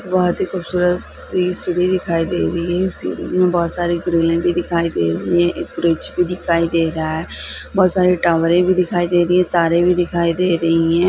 बहुत ही खूबसूरत सी सीढ़ी दिखाई दे रही है सीढ़ी में बहुत सारी ग्रिले भी दिखाई दे रही है एक ब्रिज भी दिखाई दे रहा है बहुत सारे टावरे भी दिखाई दे रही है तारे भी दिखाई दे रही है।